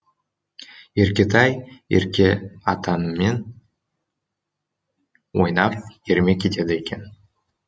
еркетай еркеатанымен ойнап ермек етеді екен